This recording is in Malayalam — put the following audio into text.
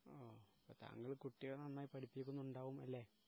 ഓ അപ്പോ താങ്കൾ നന്നായി കുട്ടികളെ പടിപ്പിക്കുന്നുണ്ടാകും അല്ലേ